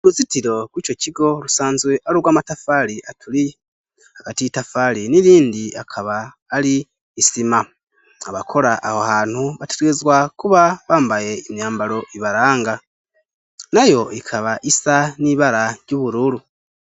Icumba c' ishure ryimyuga cubakishijw' amatafari hagati y itafari n'irindi harimw' isima, abanyeshure big' aho hantu bategerezwa kuba bambay' imyambar' ibaranga nay' ikab' isa n'ibara ry'uburuuru bateruye icuma bariko bagerageza kugikora kandi umwe wese afise ico arigukora iruhande yabo hari imodoka zitandukanye barindiriye gukora.